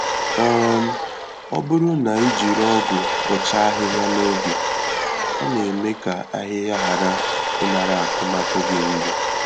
um Ọ bụrụ na ijiri ọgụ bọcha ahịhịa na oge, ọ na-eme ka ahịhịa ghara ịnara akụmakụ gị nri